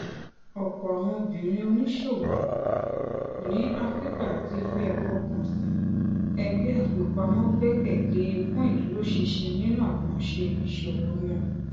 ọpọ àwọn obìnrin oníṣòwò ní áfíríkà ti fi àfọkànsìn ẹgbẹ àfipamọ gbẹkẹ lé fún ìdúrósinsin nínú àkànṣe iṣowo wọn